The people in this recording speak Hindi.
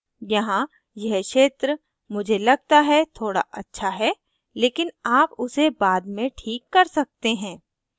यहाँ यह क्षेत्र मुझे लगता है थोड़ा अच्छा है लेकिन आप उसे बाद में this कर सकते हैं